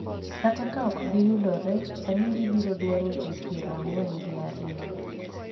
kata ka ok giyudore, sani gibiro dwaro jii piero ang'wen gi ariyo